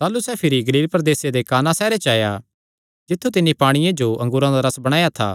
ताह़लू सैह़ भिरी गलील प्रदेसे दे काना सैहरे च आया जित्थु तिन्नी पांणिये जो अंगूरा दा रस बणाया था